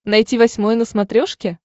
найти восьмой на смотрешке